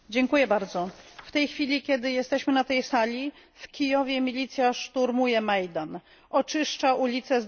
W tej chwili, kiedy jesteśmy na tej sali, w Kijowie milicja szturmuje Majdan, oczyszcza ulice z demonstrantów.